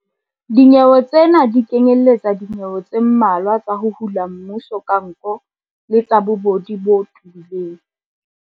Dinyewe tsena di kenyeletsa dinyewe tse mmalwa tsa ho hula mmuso ka nko le tsa bobodu bo tebileng.